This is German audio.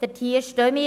dahinter stehen wir.